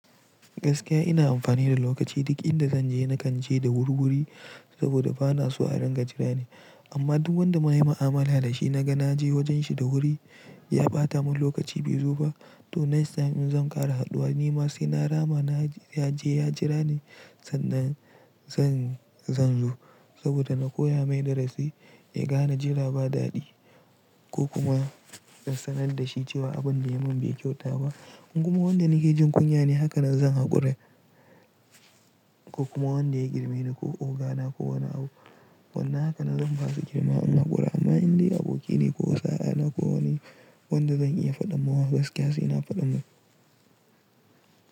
Gaskiya ina amfani da lokaci duk inda zan je na kan je da wurwuri saboda bana so a ringa jira ni. Amma duk wanda mayi mu'amala da shi naga naje wajen shi da wuri ya ɓata mun lokaci bai zo ba to next time in zan ƙara haduwa nima sai na rama na je ya jira ni sannan zan zo saboda na koya mai darasi ya gane jira ba dadi ko kuma sanar da shi cewa abun da yayi mun bai kyauta ba. Kuma wanda nake jin kunya ne haka na zan haƙura ko kuma wanda ya girme ni ko ogana ko wani abu wannan haka na zan basu girma in haƙura amma inda abokina ko sa'a na ko wani wanda zan iya faɗa masa gaskiya sai na faɗa masa.